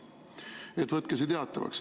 Nii et võtke teatavaks.